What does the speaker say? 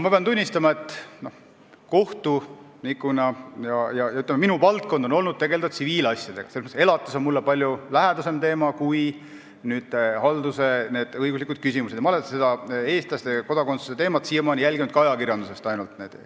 Ma pean tunnistama, et kohtunikuna on minu valdkond olnud tsiviilasjadega tegelemine, selles mõttes on elatis mulle palju lähedasem teema kui haldusõiguslikud küsimused ja ma olen seda eestlaste kodakondsuse teemat siiamaani jälginud ainult ajakirjandusest.